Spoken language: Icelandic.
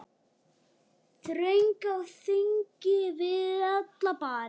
Þröng á þingi við alla bari.